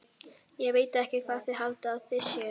Ég veit ekki hvað þið haldið að þið séuð.